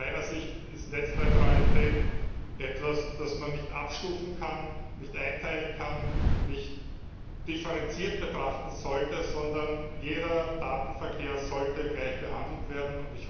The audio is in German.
Aus meiner Sicht ist Netzneutralität etwas, das man nicht abstufen kann, nicht einteilen kann, nicht differenziert betrachten sollte, sondern jeder Datenverkehr sollte gleich behandelt werden.